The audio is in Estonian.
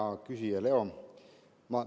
Hea küsija Leo!